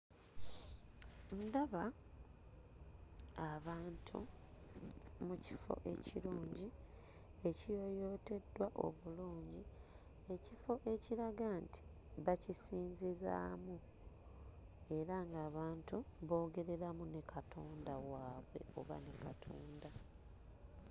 Ndaba abantu mu kifo ekirungi ekiyooyooteddwa obulungi, ekifo ekiraga nti bakisinzizaamu era ng'abantu boogereramu ne Katonda waabwe oba ne Katonda.